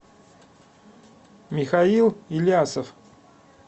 михаил илясов